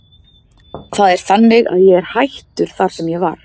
Það er þannig að ég er hættur þar sem ég var.